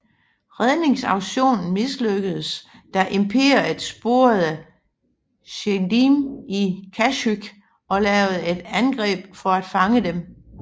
Redningsaktionen mislykkedes da Imperiet sporede Jedierne til Kashyyyk og lavede et angreb for at fange dem